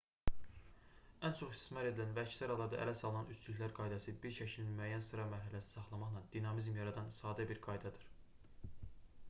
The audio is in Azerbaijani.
ən çox istismar edilən və əksər hallarda ələ salınan üçlüklər qaydası bir şəklin müəyyən sıra mərhələsini saxlamaqla dinamizm yaradan sadə bir qaydadır